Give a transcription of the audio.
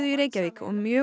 í Reykjavík og mjög